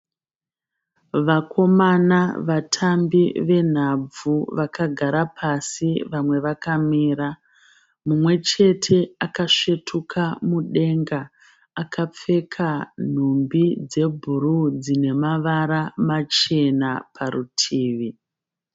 Vakomana vatambi venhabvu, vakagara pasi vamwe vakamira. Mumwechete akasvetuka mudenga, akapfeka nhumbi dzebhuruwu dzinemavara machena parutivi.